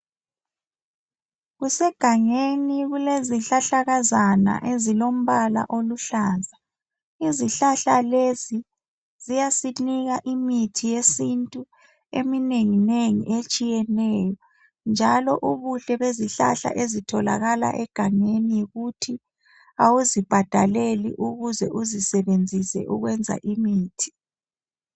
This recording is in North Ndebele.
Kusegangeni, kulezihlahlakazana ezilombala oluhlaza. Izihlahla lezi ziyasinika imithi yesintu eminenginengi etshiyeneyo njalo ubuhle bezihlahla ezitholakala egangeni yikuthi awuzibhadaleli ukuze uzisebenzise ukwenza imithi.